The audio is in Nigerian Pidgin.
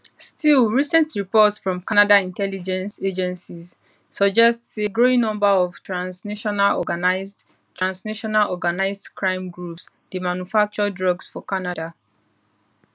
still recent reports from canada intelligence agencies suggest say growing number of transnational organised transnational organised crime groups dey manufacture drugs for canada